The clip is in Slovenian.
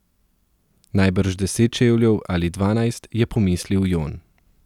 Najbrž deset čevljev ali dvanajst, je pomislil Jon.